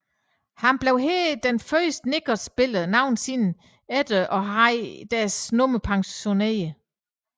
Han blev her den første Knicks spiller nogensinde til at have deres nummer pensioneret